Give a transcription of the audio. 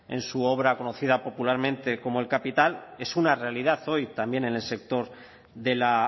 en su obra conocida popularmente como el capital es una realidad hoy también en el sector de la